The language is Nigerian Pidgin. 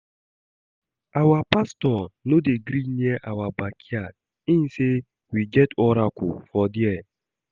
Our pastor no dey gree near our backyard, im say we get oracle for dia